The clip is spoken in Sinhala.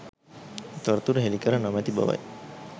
තොරතුරු හෙළි කර නොමැති බවයි